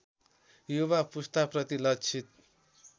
युवा पुस्ताप्रति लक्षित